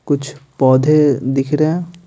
कुछ पौधे दिख रहे हैं।